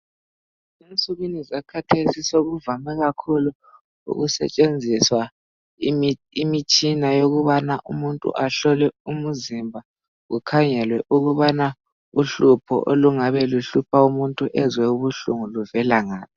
Ensukwini zakhathesi sokuvame kakhulu ukusetshenziswa imi-imitshina ukubana umuntu ahlolwe umuzimba kukhangelwe ukubana uhlupho olungabe luhlupho umuntu ezwe ubuhlungu luvela ngaphi.